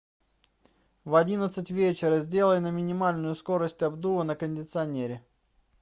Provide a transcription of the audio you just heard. в одиннадцать вечера сделай на минимальную скорость обдува на кондиционере